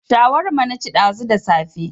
Shawarma na ci ɗazu da safe